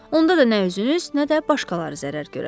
Onda da nə üzünüz, nə də başqaları zərər görər.